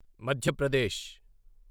మధ్య ప్రదేశ్